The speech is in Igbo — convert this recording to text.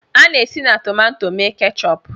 A na-esi na tomato mee keechup